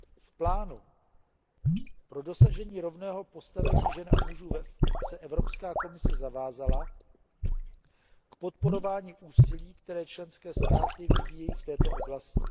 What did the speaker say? V Plánu pro dosažení rovného postavení žen a mužů se Evropská komise zavázala k podporování úsilí, které členské státy vyvíjejí v této oblasti.